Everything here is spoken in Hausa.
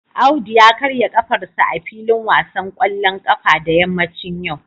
Audu ya karya kafarsa a filin wasan kwallon kafa da yammacin yau